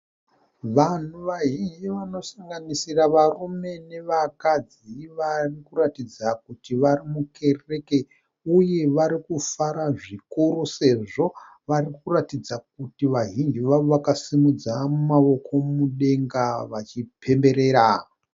Vanhu vazhinji vanosanganisira varume nevakadzi varikuratidza kuti varimukereke uye varikufara zvikuru sezvo varikuratidza kuti vazhinji vavo vakasimudza maoko mudenga vachipemberera.